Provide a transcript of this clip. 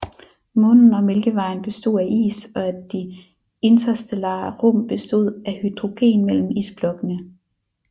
Månen og Mælkevejen bestod af is og at de interstellare rum bestod af hydrogen mellem isblokkene